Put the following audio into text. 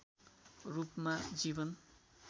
रूपमा जीवन